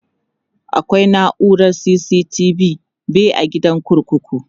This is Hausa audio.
akwai naurar CCTV be a gidan kurkuku